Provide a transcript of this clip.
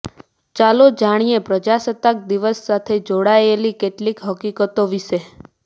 ચાલો જાણીએ પ્રજાસત્તાક દિવસ સાથે જોડાયેલી કેટલીક હકીકતો વિષે